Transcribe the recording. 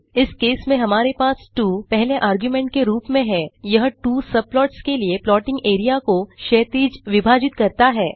इस केस में हमारे पास 2 पहले आर्गुमेंट के रूप में हैयह 2 सबप्लॉट्स के लिए प्लॉटिंग एरिया को क्षैतिज विभाजित करता है